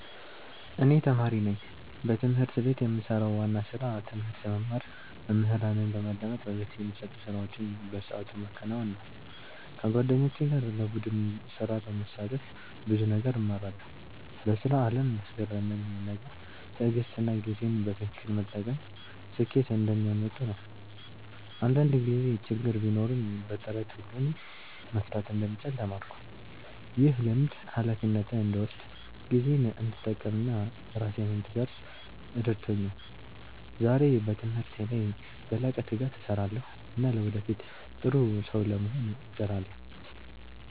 እኔ ተማሪ ነኝ። በትምህርት ቤት የምሰራው ዋና ስራ ትምህርት መማር፣ መምህራንን በማዳመጥ በቤት የሚሰጡ ስራዎችን በሰዓቱ ማከናወን ነው። ከጓደኞቼ ጋር በቡድን ስራ በመሳተፍ ብዙ ነገር እማራለሁ። በስራ አለም ያስገረመኝ ነገር ትዕግሥትና ጊዜን በትክክል መጠቀም ስኬት እንደሚያመጡ ነው። አንዳንድ ጊዜ ችግር ቢኖርም በጥረት ሁሉን መፍታት እንደሚቻል ተማርኩ። ይህ ልምድ ሃላፊነትን እንድወስድ፣ ጊዜዬን እንድጠቀም እና ራሴን እንድቀርፅ ረድቶኛል። ዛሬ በትምህርቴ ላይ በላቀ ትጋት እሰራለሁ እና ለወደፊት ጥሩ ሰው ለመሆን እጥራለሁ።